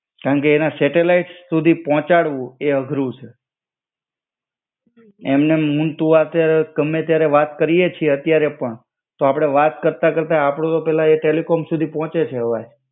કારણ કે એના સેટેલાઈટ સુધી પહોંચાડવું એ અઘરું છે. એમ નેમ હું તું હાથે ગમે ત્યારે વાત કરીયે છે અત્યારે પણ, તો અપડે વાત કરતા કરતા આપણું તો પેલા એ ટેલિકોમ સુધી પોંચે છે અવાજ.